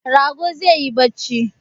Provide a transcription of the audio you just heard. Rago zai yi barci